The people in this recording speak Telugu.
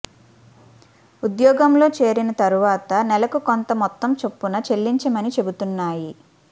ఉద్యోగంలో చేరిన తర్వాత నెలకు కొంత మొత్తం చొప్పున చెల్లించమని చెబుతున్నాయి